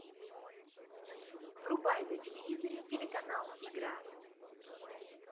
врубай на телевизоре телеканал игра